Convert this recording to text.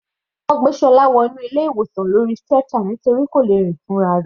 Wọ́n gbé Ṣọlá wọ inú ilé ìwòsan lórí stretcher nítorí kò lè rìn fúnra rẹ̀.